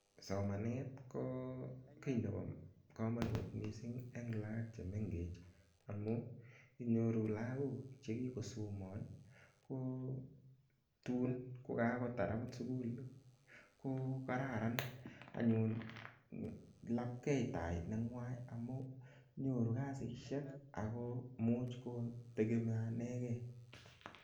Somanet ko kit nebo komonut mising en lagok che mengechen amun inyoru lagok che kigosoman kotin ko kagotar agot sukul, ko kararan anyun lapkei tai nenywan amun nyoru kasishek ago imuch ko tegemeanen ge.